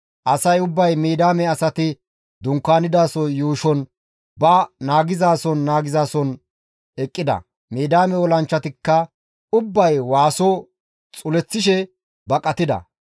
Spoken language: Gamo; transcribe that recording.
Asay ubbay Midiyaame asati dunkaanidaso yuushon ba naagizason naagizason eqqida; Midiyaame olanchchatikka ubbay waaso xuleththishe baqatida.